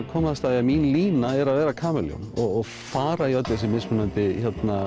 komast að því að mín lína er að vera kamelljón og fara í öll þessi mismunandi